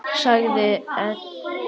Segið EN.